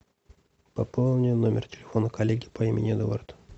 пополни номер телефона коллеги по имени эдуард